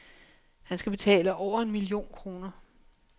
Han skal betale over en million kroner.